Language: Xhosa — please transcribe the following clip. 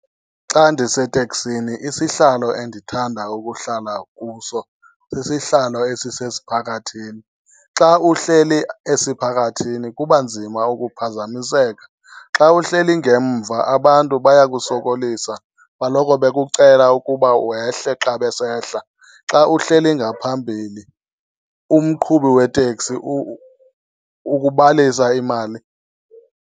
Xa ndiseteksini isihlalo endithanda ukuhlala kuso sisihlalo esisesiphakathini. Xa uhleli esiphakathini kuba nzima ukuphazamiseka. Xa uhleli ngemva abantu bayakusokolisa baloko bekucela ukuba wehle xa besehla. Xa uhleli ngaphambili umqhubi weteksi ukubalisa imali.